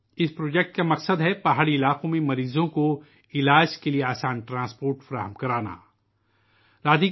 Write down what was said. اس project کا مقصد پہاڑی علاقوں میں مریضوں کے علاج کے لئے آسان نقل و حمل فراہم کرانا ہے